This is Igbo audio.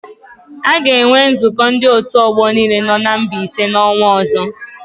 A ga-enwe nzụkọ ndị òtù ọgbọ niile nọ na Mbaise n'ọnwa ọ̀zọ́.